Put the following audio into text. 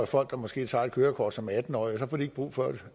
folk der måske tager et kørekort som atten årige og så får de ikke brug for